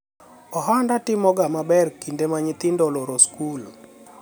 ohanda timoga maber kinde ma nyithindo oloro sikul